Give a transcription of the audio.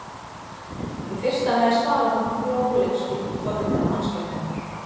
Í fyrsta lagi svalar hún fróðleiksfýsn forvitinnar mannskepnunnar.